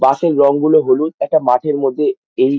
বাস -এর রঙগুলো হলুদ একটা মাঠের মধ্যে এই--